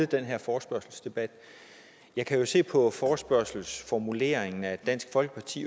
den her forespørgselsdebat jeg kan se på forespørgslens formulering at dansk folkeparti